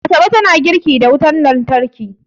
Asabe tana girki da wutar lantarki